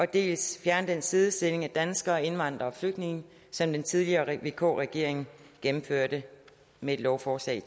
dels fjerner den sidestilling af danskere indvandrere og flygtninge som den tidligere vk regering gennemførte med et lovforslag